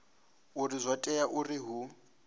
uri zwo tea uri hu